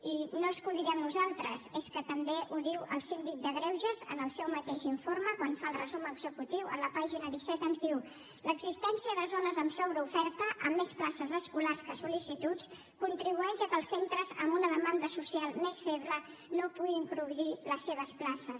i no és que ho diguem nosaltres és que també ho diu el síndic de greuges en el seu mateix informe quan fa el resum executiu a la pàgina disset ens diu l’existència de zones amb sobreoferta amb més places escolars que sol·licituds contribueix al fet que els centres amb una demanda social més feble no puguin cobrir les seves places